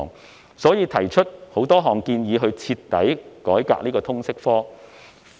因此，他們提出多項建議，以徹底改革通識科。